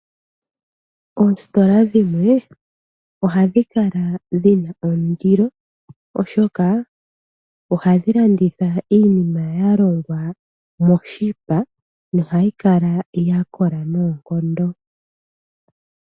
Oositola dhimwe ohadhi kala dhi na ondilo oshoka oha dhi landitha iinima ya longwa moshipa nohayi kala ya kola noonkondo.